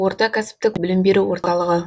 орта кәсіпік білім беру орталығы